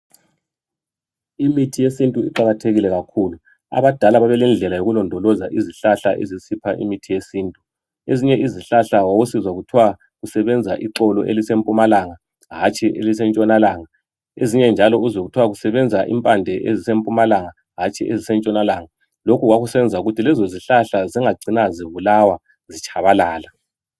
Imithi yesintu iqakathekile kakhulu abadala babelendlela yokulondoloza izihlahla ezisipha imithi yesintu. Ezinye izihlahla wawusizwa kuthwa kusebenza ixolo elise mpumalanga hantshi elisentshonalanga, ezinye njalo kuthiwe kusebenza impande esempumalanga hantsho ezisentshonalanga lokhu kwakusenza ukuthi izihlahla zingacina zibulawa zitshabalala.